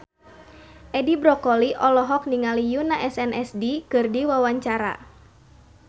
Edi Brokoli olohok ningali Yoona SNSD keur diwawancara